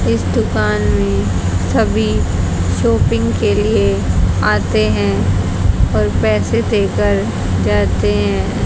इस दुकान में सभी शॉपिंग के लिए आते हैं और पैसे देकर जाते हैं।